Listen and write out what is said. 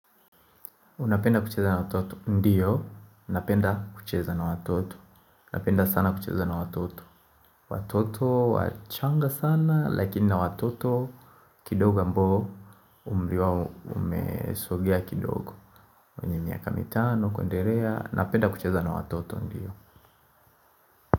Unapenda kucheza na watoto? Ndiyo. Unapenda kucheza na watoto. Unapenda sana kucheza na watoto. Watoto wachanga sana, lakini na watoto kidogo ambao umri wao umesogea kidogo. Mwenye miaka mitano, kuenderea. Unapenda kucheza na watoto. Ndiyo.